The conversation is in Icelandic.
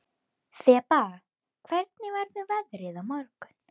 Þeba, hvernig verður veðrið á morgun?